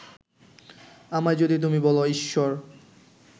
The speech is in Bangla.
আমায় যদি তুমি বলো ঈশ্বর